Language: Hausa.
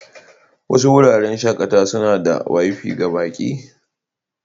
Wasu wuraren shakatawa suna da Wi-Fi ga baƙi.